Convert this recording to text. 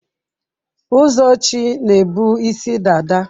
Ụzọchi na ebu isi dada.